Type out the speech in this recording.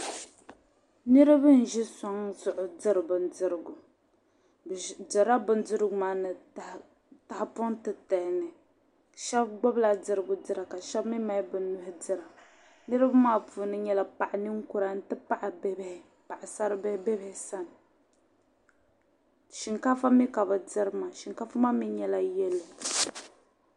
Niriba n-ʒi sɔŋ zuɣu n-diri bindirigu. Bɛ dirila bindirigu maa tahapɔŋ titali ni. Shɛba gbibila dirigu dira ka shɛba mi mali bɛ nuhi dira. Niriba maa puuni nyɛla paɣ' ninkura nti pahi bibihi paɣisaribihi be bɛ sani. Shiŋkaafa mi ka bɛ diri maa shiŋkaafa maa mi nyɛla yɛlo.